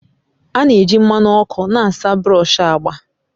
A na-eji mmanụ ọkụ na-asa brush agba